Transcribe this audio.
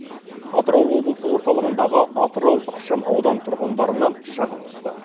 атырау облысы орталығындағы атырау ықшам аудан тұрғындарынан шағым түсті